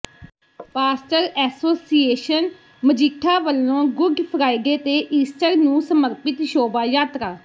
pastor association Majitha ਵੱਲੋਂ Good Friday ਤੇ Easter ਨੂੰ ਸਮਰਪਿਤ ਸ਼ੋਭਾ ਯਾਤਰਾ